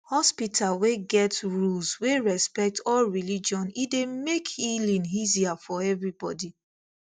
hospital wey get rules wey respect all religion e dey make healing easier for everybody